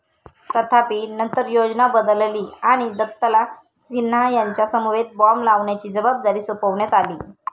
तथापि, नंतर योजना बदलली आणि दत्तला सिन्हा यांच्यासमवेत बॉम्ब लावण्याची जबाबदारी सोपवण्यात आली.